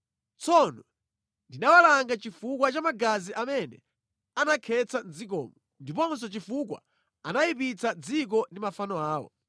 Tsono ndinawalanga chifukwa cha magazi amene anakhetsa mʼdzikomo, ndiponso chifukwa anayipitsa dziko ndi mafano awo.